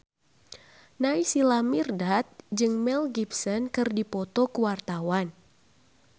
Naysila Mirdad jeung Mel Gibson keur dipoto ku wartawan